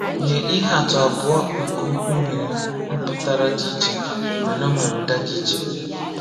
Nye ihe atụ abụọ nke okwu nwere mpụtara dị iche mana ọ nwere ụda dị iche.